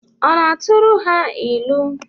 Ọ na-aturu ha ilu?